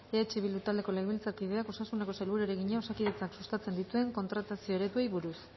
eh bildu taldeko legebiltzarkideak osasuneko sailburuari egina osakidetzak sustatzen dituen kontratazio ereduei buruz